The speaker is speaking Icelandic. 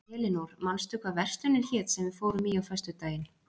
Elinór, manstu hvað verslunin hét sem við fórum í á föstudaginn?